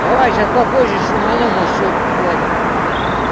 давай сейчас попозже шуману может что блять